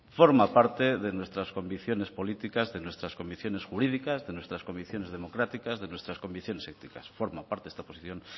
forma parte de nuestras convicciones políticas de nuestras convicciones jurídicas de nuestras convicciones democráticas de nuestras convicciones éticas forma parte esta posición